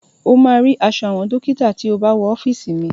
O máa rí aṣọ àwọn dọ́kítà tí o bá wọ ọ́fìsì mi..